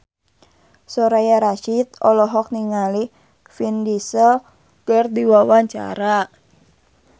Soraya Rasyid olohok ningali Vin Diesel keur diwawancara